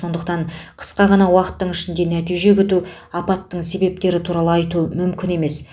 сондықтан қысқа ғана уақыттың ішінде нәтиже күту апаттың себептері туралы айту мүмкін емес